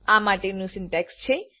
આ માટેનું સિન્ટેક્સ છે